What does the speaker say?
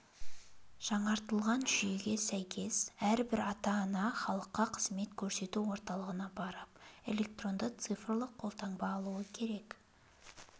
жаңартылған жүйеге сәйкес әрбір ата-ана халыққа қызмет көрсету орталығына барып электронды цифрлы қолтаңба алуы керек сол